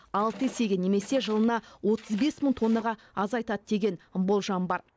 алты есеге немесе жылына отыз бес мың тоннаға азайтады деген болжам бар